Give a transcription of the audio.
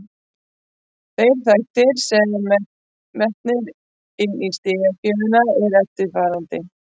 Þeir þættir sem eru metnir inni í stigagjöfina eru eftirfarandi: